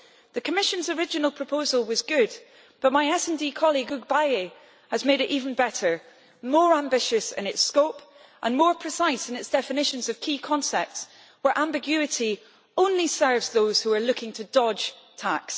The Commission's original proposal was good, but my SD colleague Hugues Bayet has made it even better, more ambitious in its scope and more precise in its definitions of key concepts where ambiguity only serves those who are looking to dodge tax.